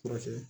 Furakɛ